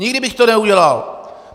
Nikdy bych to neudělal!